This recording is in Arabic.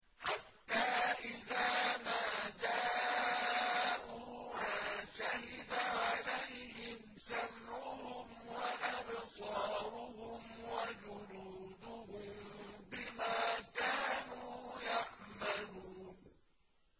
حَتَّىٰ إِذَا مَا جَاءُوهَا شَهِدَ عَلَيْهِمْ سَمْعُهُمْ وَأَبْصَارُهُمْ وَجُلُودُهُم بِمَا كَانُوا يَعْمَلُونَ